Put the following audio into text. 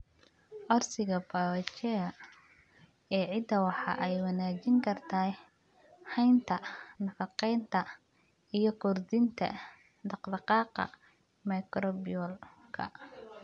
Codsiga biochar ee ciidda waxa ay wanaajin kartaa haynta nafaqeynta iyo kordhinta dhaqdhaqaaqa microbial-ka.